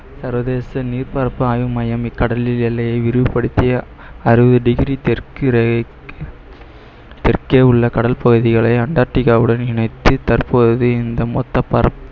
சர்வதேச நீர் பரப்பு ஆய்வு மையம் இக்கடலில் எல்லையை விரிவுபடுத்திய அறுபது degree தெற்கு ரேகை தெற்கே உள்ள கடல் பகுதிகளை அண்டார்டிகாவுடன் இணைத்து தற்போது இந்த மொத்த பரப்~